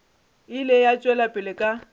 ile a tšwela pele ka